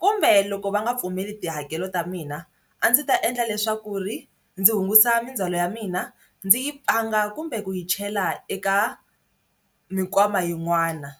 kumbe loko va nga pfumeli tihakelo ta mina a ndzi ta endla leswaku ri ndzi hungusa mindzhwalo ya mina ndzi yi kumbe ku yi chela eka mikwama yin'wana.